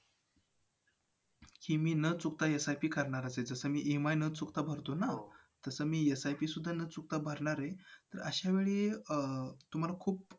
की मी न चुकता SIP करणारच. EMI न चुकता भरतोच ना? तसं मी SIP सुद्धा न चुकता भरणारे. अशावेळी अं तुम्हाला खूप